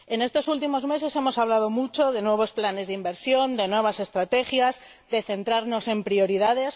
En estos últimos meses hemos hablado mucho de nuevos planes de inversión, de nuevas estrategias, de centrarnos en prioridades.